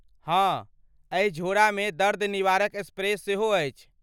हाँ, एहि झोड़ामे दर्द निवारक स्प्रे सेहो अछि।